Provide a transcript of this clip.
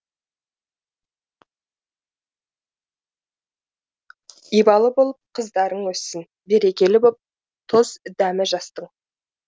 ибалы болып қыздарың өссін берекелі боп тұз дәмі жастың